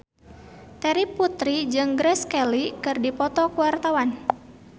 Terry Putri jeung Grace Kelly keur dipoto ku wartawan